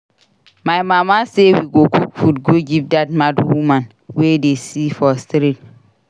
My mama say we go cook food go give dat mad woman we dey see for street